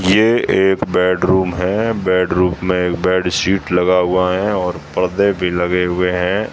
ये एक बेडरूम है बेडरूम में एक बैडशीट लगा हुआ है और पर्दे भी लगे हुए हैं।